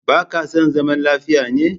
Baka son zaman lafiya ne?